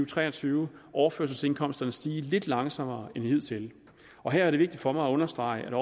tre og tyve overførselsindkomsterne stige lidt langsommere end hidtil og her er det vigtigt for mig at understrege